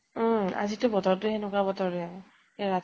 উম আজিতো বতৰতো হেনেকুৱা বতৰ হে, ৰাতিপুৱা